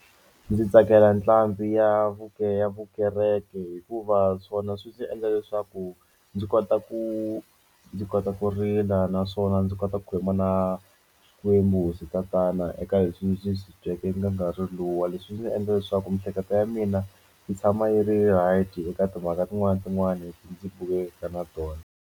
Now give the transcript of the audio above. Ndzi tsakela ntlangu ya vuke ya vukereke hikuva swona swi ndzi endla leswaku ndzi kota ku ndzi kota ku rila naswona ndzi kota ku khuluma na Xikwembu hosi tatana eka leswi ndzi swi na nkarhi luwa leswi ndzi endla leswaku miehleketo ya mina yi tshama yi ri ready eka timhaka tin'wana na tin'wani ndzi na tona.